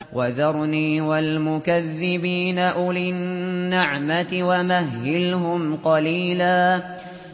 وَذَرْنِي وَالْمُكَذِّبِينَ أُولِي النَّعْمَةِ وَمَهِّلْهُمْ قَلِيلًا